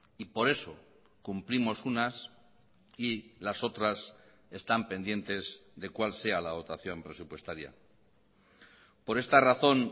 y por eso cumplimos unas y las otras están pendientes de cuál sea la dotación presupuestaria por esta razón